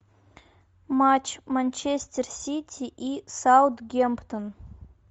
матч манчестер сити и саутгемптон